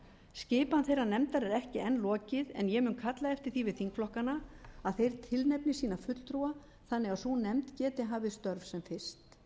skipan þeirrar nefndar er enn ekki lokið en ég mun kalla eftir því við þingflokkana að þeir tilnefni sína fulltrúa þannig að sú nefnd geti hafið störf sem fyrst